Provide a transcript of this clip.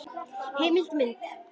Heimild og mynd